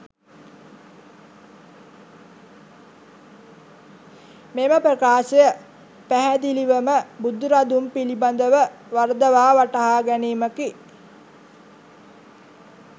මෙම ප්‍රකාශය පැහැදිලිවම බුදුරදුන් පිළිබඳව වරදවා වටහා ගැනීමකි.